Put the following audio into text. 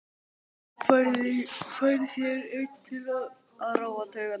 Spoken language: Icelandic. Færð þér einn til að róa taugarnar.